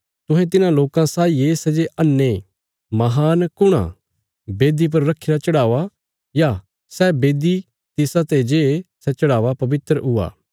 तुहें तिन्हां लोकां साई ये सै जे अन्हे महान कुण आ बेदी पर रखीरा चढ़ावा या सै बेदी तिसाते जे सै चढ़ावा पवित्र हुआं